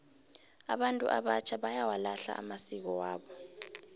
abantu abatjha bayawalahla amasiko wabo